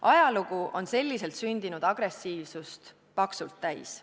Ajalugu on selliselt sündinud agressiivsust paksult täis.